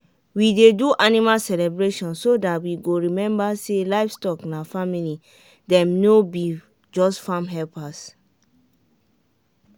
we dey do animal celebration so that we go remember say livestock na family dem no be just farm helpers.